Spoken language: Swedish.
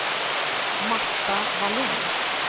Marta Vallin